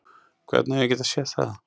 Hvernig á ég að geta séð það?